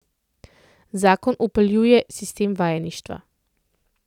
Zakon vpeljuje sistem vajeništva.